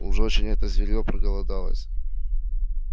уж очень это зверьё проголодалось